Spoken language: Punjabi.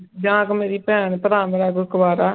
ਜਾਂ ਕੋਈ ਮੇਰੀ ਭੈਣ ਭਰਾ ਮੇਰਾ ਕੋਈ ਕੁਆਰਾ,